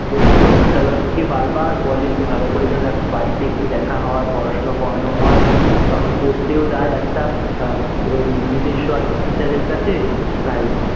ওর তো বিদ্যালয় থেকে বার বার বলে ভালো করে যেন এখন বাড়ীতে একটু দেখা হয়ে, পড়াশুনো করানো হয়ে , তখন পড়তেও যায় একটা আহ এরম নিজেস্ব একটা teacher এর কাছে তাই,